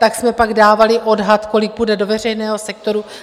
Tak jsme pak dávali odhad, kolik půjde do veřejného sektoru.